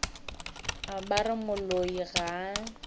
ba re moloi ga a